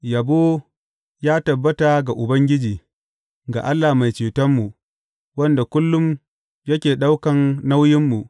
Yabo ya tabbata ga Ubangiji, ga Allah Mai Cetonmu, wanda kullum yake ɗaukan nauyinmu.